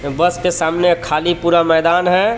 बस के सामने खाली पूरा मैदान है.